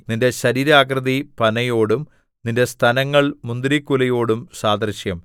നിന്റെ ശരീരാകൃതി പനയോടും നിന്റെ സ്തനങ്ങൾ മുന്തിരിക്കുലയോടും സദൃശം